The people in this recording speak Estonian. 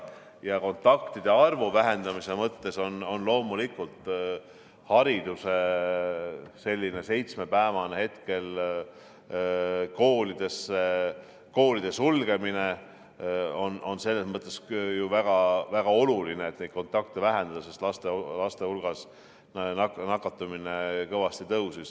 Ja kontaktide arvu vähendamise mõttes on koolide seitsmepäevane sulgemine selles mõttes ju väga-väga oluline, sest laste hulgas on nakatumine kõvasti tõusnud.